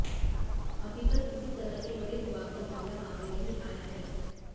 अभी तक किसी तरह के बड़े विवाद का मामला सामने नहीं आया है